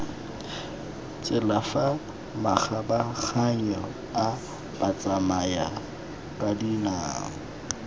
tsela fa makgabaganyong a batsamayakadinao